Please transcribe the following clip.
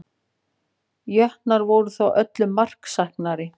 Jötnar voru þó öllu marksæknari